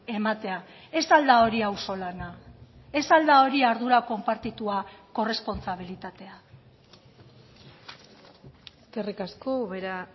ematea ez al da hori auzolana ez al da hori ardura konpartitua korrespontsabilitatea eskerrik asko ubera